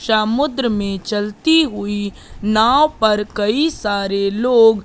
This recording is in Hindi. समुद्र में चलती हुई नाव पर कई सारे लोग--